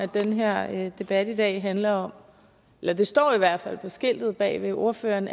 den her debat i dag handler om eller det står der i hvert fald på skiltet bag ved ordføreren